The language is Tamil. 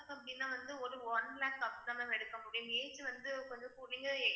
அப்படின்னா வந்து ஒரு one lakhs அப்டிதான் ma'am எடுக்க முடியும் age வந்து கொஞ்சம்